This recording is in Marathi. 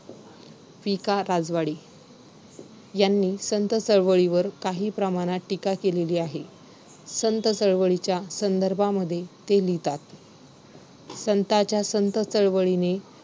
आपल्या स्वतःच्या ज्या घरात तिकडे आपण अनेको वर्ष तेवीस वर्ष चोवीस वर्ष राहतोय त्या घरामधून आपल्याला दुसऱ्या घरात जायचे तिकडे सगळं परक वातावरण परके लोक .